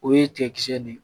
O ye tigakisɛ de ye